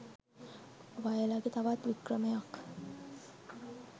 වයලගේ තවත් වික්‍රමයක්